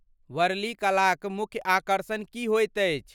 वर्ली कला क मुख्य आकर्षण की होइत अछि?